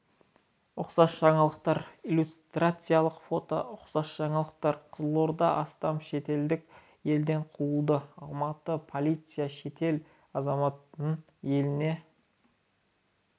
ұқсас жаңалықтар иллюстрациялық фото ұқсас жаңалықтар қызылорда астам шетелдік елден қуылды алматы полициясы шетел азаматын еліне